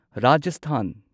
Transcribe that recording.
Rajasthan